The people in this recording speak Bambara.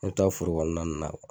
an me taa forokɔnɔna nunnu na kuwa